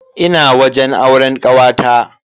Ina wajen auren kawata.